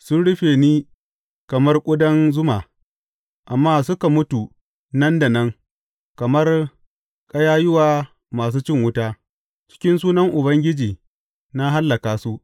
Sun rufe ni kamar ƙudan zuma, amma suka mutu nan da nan kamar ƙayayyuwa masu cin wuta; a cikin sunan Ubangiji na hallaka su.